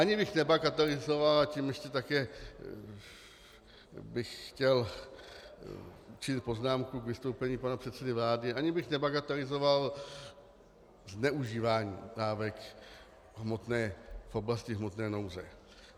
Ani bych nebagatelizoval, a tím ještě také bych chtěl učinit poznámku k vystoupení pana předsedy vlády, ani bych nebagatelizoval zneužívání dávek v oblasti hmotné nouze.